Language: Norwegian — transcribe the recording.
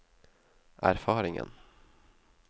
erfaringen